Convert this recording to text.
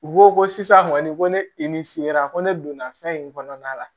U ko ko sisan kɔni ko ne i ni se la ko ne donna fɛn in kɔnɔna la